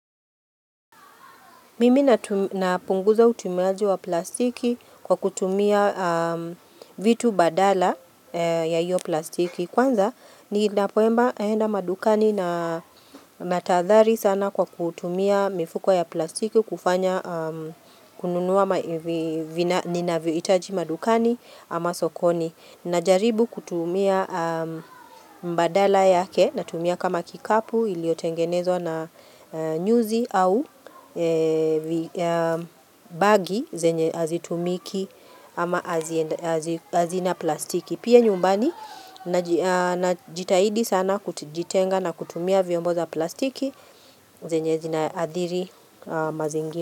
Mimi napunguza utumiaji wa plastiki kwa kutumia vitu badala ya hiyo plastiki. Kwanza ni napoemba enda madukani na matadhari sana kwa kutumia mifuko ya plastiki kufanya kununua itaji madukani ama sokoni. Najaribu kutumia mbadala yake na tumia kama kikapu ili otengenezwa na nyuzi au bagi zenye azitumiki ama azina plastiki. Pia nyumbani na jitahidi sana kujitenga na kutumia vyombo za plastiki zenye zinaadhiri mazingi.